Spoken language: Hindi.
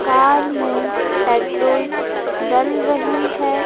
कार में पेट्रोल डल रही है।